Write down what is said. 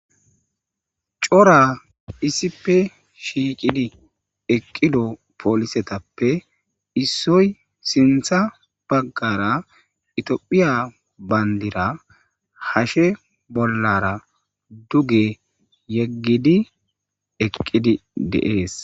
cora isipe shiiqidi eqqido poolisetappe issoy sintha baggara itiophiya bayndira hashe bollara duge yeggidi eqqidi deees